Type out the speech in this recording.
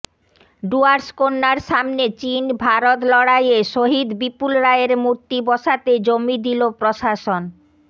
ডুয়ার্স কন্যার সামনে চিন ভারত লড়াইয়ে শহিদ বিপুল রায়ের মূর্তি বসাতে জমি দিল প্রশাসন